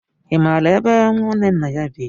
Ị mara ebe ñwanne nna anyị bị?